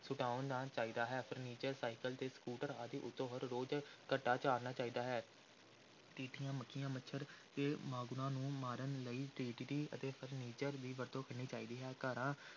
ਸੁਟਵਾਉਣਾ ਚਾਹੀਦਾ ਹੈ furniture cycle ਤੇ ਸਕੂਟਰ ਆਦਿ ਉੱਤੋਂ ਹਰ ਰੋਜ਼ ਘੱਟਾ ਝਾੜਨਾ ਚਾਹੀਦਾ ਹੈ, ਟਿੱਡੀਆਂ, ਮੱਖੀਆਂ, ਮੱਛਰ ਤੇ ਮਾਂਗਣੂਆਂ ਨੂੰ ਮਾਰਨ ਲਈ DDT ਅਤੇ furniture ਦੀ ਵਰਤੋਂ ਕਰਨੀ ਚਾਹੀਦੀ ਹੈ, ਘਰਾਂ